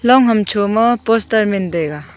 long hamsho ma poster men taiga.